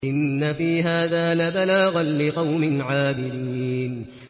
إِنَّ فِي هَٰذَا لَبَلَاغًا لِّقَوْمٍ عَابِدِينَ